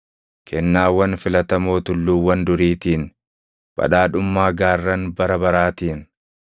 kennaawwan filatamoo tulluuwwan duriitiin, badhaadhummaa gaarran bara baraatiin,